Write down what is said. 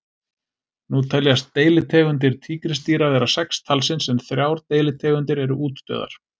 Nú teljast deilitegundir tígrisdýra vera sex talsins en þrjár deilitegundir eru útdauðar.